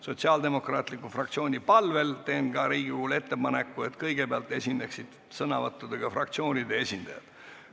Sotsiaaldemokraatliku fraktsiooni palvel teen ka Riigikogule ettepaneku, et kõigepealt esineksid sõnavõttudega fraktsioonide esindajad.